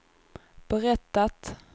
berättat